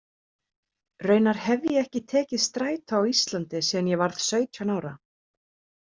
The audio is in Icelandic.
Raunar hef ég ekki tekið strætó á Íslandi síðan ég varð sautján ára.